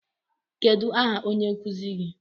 Kedụ aha onye nkụzi gi?